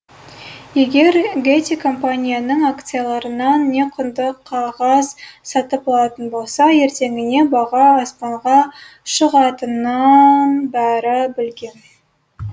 егер гетти компанияның акцияларынан не құнды қағаз сатып алатын болса ертеңіне баға аспанға шығатынын бәрі білген